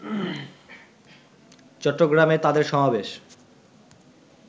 চট্টগ্রামে তাদের সমাবেশ